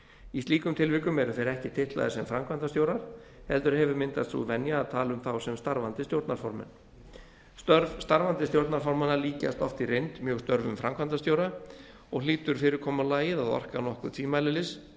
í slíkum tilvikum eru þeir ekki titlaðir sem framkvæmdastjórar heldur hefur myndast sú venja að tala um þá sem starfandi stjórnarformenn störf starfandi stjórnarformanna líkjast oft í reynd mjög störfum framkvæmdastjóra og hlýtur fyrirkomulagið að orka nokkuð